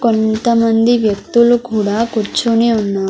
కొంతమంది వ్యక్తులు కూడా కూర్చుని ఉన్నా.